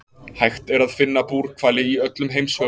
Hægt er að finna búrhvali í öllum heimshöfum.